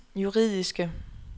juridiske